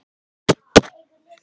Hver er svalasti þjálfarinn?